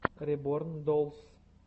реборн доллс